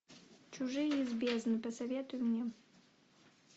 чужие из бездны посоветуй мне